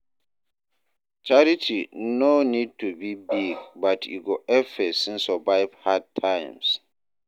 Charity no need to be big, but e go help person survive hard times.